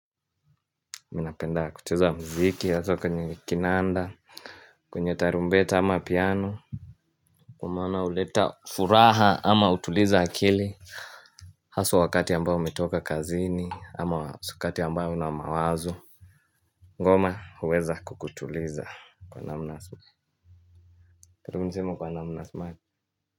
Mi napenda kucheza muziki hasa kwenye kinanda. Kwenye tarumbeta ama piano kwa maana uleta furaha ama hutuliza akili. Haswa wakati ambao umetoka kazini ama wakati ambao una mawazo ngoma huweza kukutuliza kwa namna karibu niseme kwa namna smart.